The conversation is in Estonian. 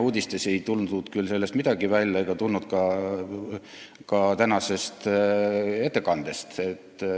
Uudistest ei tulnud sellest midagi välja ega ka mitte tänasest ettekandest.